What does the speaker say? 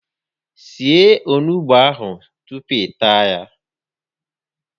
Sie onugbu a tupu ị taa ya